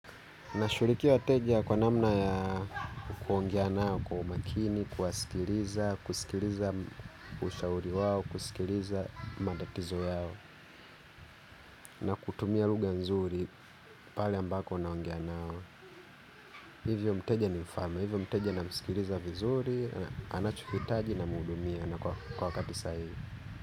Nashughulikia wateja kwa namna ya kuongea nao, kwa umakini, kuwasikiliza, kusikiliza ushauri wao, kusikiliza matatizo yao. Na kutumia lugha nzuri pali ambako naongea nao. Hivyo mteja ni mfalme, hivyo mteja namsikiliza vizuri, anachohitaji namuhudumia na kwa wakati sahihi.